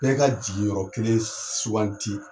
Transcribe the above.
Bɛɛ ka jigin yɔrɔ kelen suganti